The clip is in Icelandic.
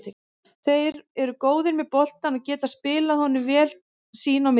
Þeir eru góðir með boltann og geta spilað honum vel sín á milli.